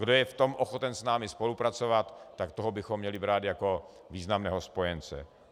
Kdo je v tom ochoten s námi spolupracovat, tak toho bychom měli brát jako významného spojence.